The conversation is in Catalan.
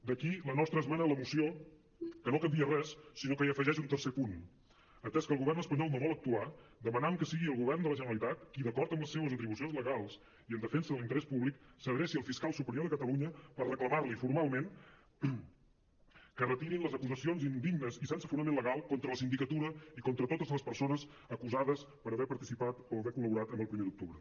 d’aquí la nostra esmena a la moció que no canvia res sinó que hi afegeix un tercer punt atès que el govern espanyol no vol actuar demanem que sigui el govern de la generalitat qui d’acord amb les seves atribucions legals i en defensa de l’interès públic s’adreci al fiscal superior de catalunya per reclamar li formalment que retirin les acusacions indignes i sense fonament legal contra la sindicatura i contra totes les persones acusades per haver participat o haver col·laborat amb el primer d’octubre